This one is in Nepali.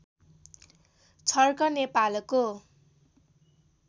छर्क नेपालको